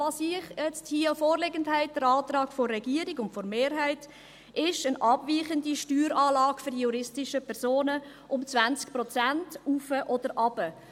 Was Sie jetzt hier vorliegend haben – der Antrag der Regierung und der Mehrheit –, ist eine abweichende Steueranlage für die juristischen Personen um 20 Prozent nach oben oder nach unten.